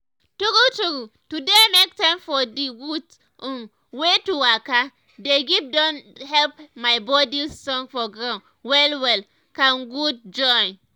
true true to dey make time for d gud um wey to waka dey give don help my body strong for ground well well con good join.